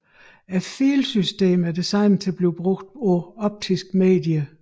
Filsystemet er designet til at blive brugt på optiske medier